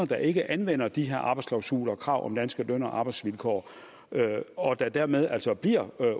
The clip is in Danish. der ikke anvender de her arbejdsklausuler og stiller krav om danske løn og arbejdsvilkår og der dermed altså bliver